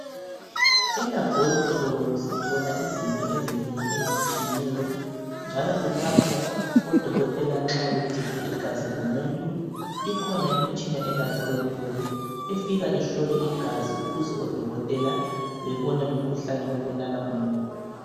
Elabhorethi sithola izinto ezinengi ezitshiyeneyo njalo kulapho odokotela nxa bethethe igazi lomuntu ikhona imitshina elabhorethi efika ihlole igazi ukuze odokotela bebone umkhuhlane obulala umuntu.